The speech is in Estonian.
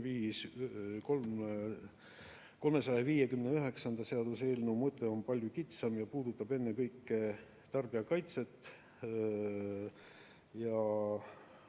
Seaduseelnõu 359 mõte on palju kitsam ja puudutab ennekõike tarbijakaitset ja